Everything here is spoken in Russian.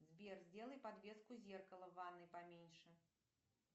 сбер сделай подвеску зеркала в ванной поменьше